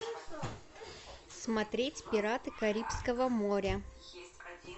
смотреть пираты карибского моря